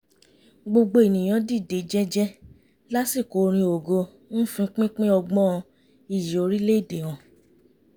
gbogbo ènìyàn dìde jẹ́jẹ́ lásìkò orin ògo ń fi pínpín ọgbọ́n iyì orílẹ̀ èdè hàn